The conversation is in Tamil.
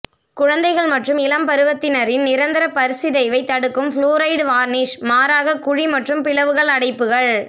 குழந்தைகள் மற்றும் இளம் பருவத்தினரின் நிரந்தர பற் சிதைவை தடுக்கும் புளூரைடு வார்னிஷ் மாறாக குழி மற்றும் பிளவுகள் அடைப்புகள்